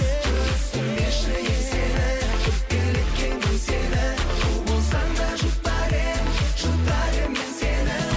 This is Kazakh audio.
түсірмеші еңсені өкпелеткен кім сені у болсаң да жұтар едім жұтар едім мен сені